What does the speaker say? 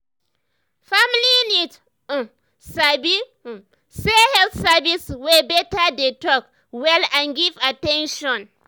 family need um sabi um say health service wey beta dey talk well and give at ten tion.